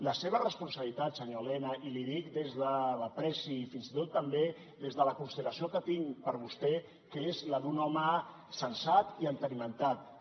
la seva responsabilitat senyor elena i l’hi dic des de l’estima fins i tot també des de la consideració que tinc per vostè que és la d’un home sensat i entenimentat